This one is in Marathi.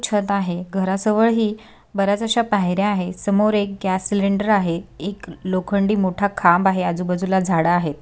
छत आहे घराजवळ ही बऱ्याच अश्या पायऱ्या आहे समोर एक गॅस सिलिंडर आहे एक लोखनडी मोठा खांब आहे आजूबाजूला झाड आहेत.